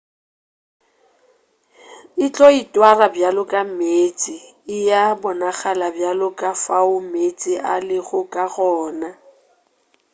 e tlo itwara bjalo ka meetse e a bonagala bjalo ka fao meetse a lego ka gona